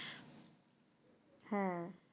হ্যাঁ